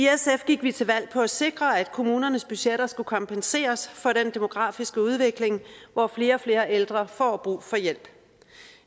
gik vi til valg på at sikre at kommunernes budgetter skulle kompenseres for den demografiske udvikling hvor flere og flere ældre får brug for hjælp